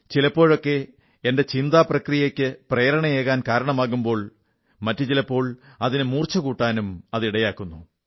ചിലപ്പോഴൊക്കെ എന്റെ ചിന്താ പ്രക്രിയയ്ക്ക് പ്രേരണയേകാൻ കാരണമാകുമ്പോൾ മറ്റു ചിലപ്പോൾ മൂർച്ചകൂട്ടാനും അത് ഇടയാക്കുന്നു